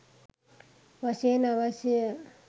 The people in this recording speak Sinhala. වශයෙන් අවශ්‍යය.